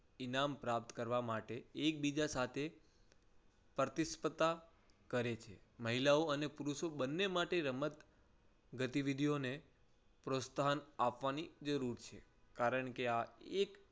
ઇનામ પ્રાપ્ત કરવા માટે એકબીજા સાથે પ્રતિ સ્પર્ધા કરે છે. મહિલાઓ અને પુરુષો બંને માટે રમત ગતી વિધિઓને પ્રોત્સાહન આપવાની જરૂર છે. કારણ કે આ એક